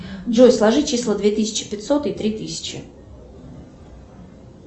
джой сложи числа две тысячи пятьсот и три тысячи